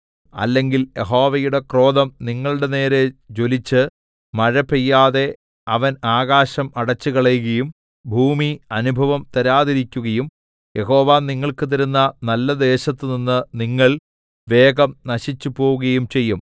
അല്ലെങ്കിൽ യഹോവയുടെ ക്രോധം നിങ്ങളുടെനേരെ ജ്വലിച്ച് മഴ പെയ്യാതെ അവൻ ആകാശം അടച്ചുകളകയും ഭൂമി അനുഭവം തരാതിരിക്കുകയും യഹോവ നിങ്ങൾക്ക് തരുന്ന നല്ലദേശത്തുനിന്ന് നിങ്ങൾ വേഗം നശിച്ചുപോവുകയും ചെയ്യും